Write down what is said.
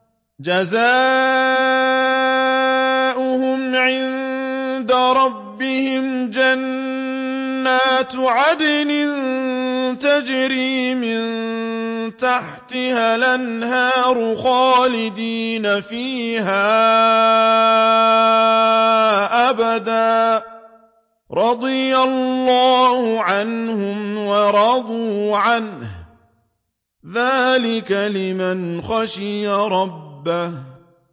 جَزَاؤُهُمْ عِندَ رَبِّهِمْ جَنَّاتُ عَدْنٍ تَجْرِي مِن تَحْتِهَا الْأَنْهَارُ خَالِدِينَ فِيهَا أَبَدًا ۖ رَّضِيَ اللَّهُ عَنْهُمْ وَرَضُوا عَنْهُ ۚ ذَٰلِكَ لِمَنْ خَشِيَ رَبَّهُ